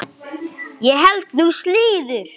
Ég held nú slíður!